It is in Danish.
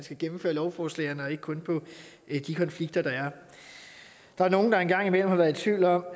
at gennemføre lovforslagene og ikke kun på de konflikter der er der er nogle der en gang imellem har været i tvivl om